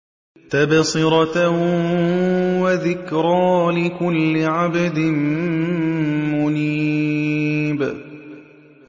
تَبْصِرَةً وَذِكْرَىٰ لِكُلِّ عَبْدٍ مُّنِيبٍ